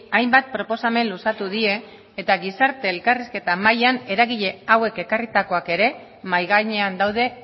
hainbat proposamen luzatu die eta gizarte elkarrizketa mahaian eragile hauek ekarritakoak ere mahai gainean daude